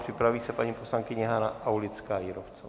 Připraví se paní poslankyně Hana Aulická Jírovcová.